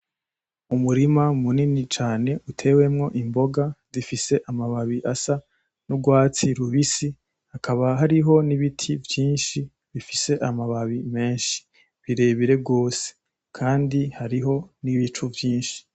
Umurima munini cane utewemwo imboga zifise amababi asa n’urwatsi rubisi hakaba hariho n’ibiti vyinshi bifise amababi menshi birebire gose kandi hariho n’ibicu vyinshi.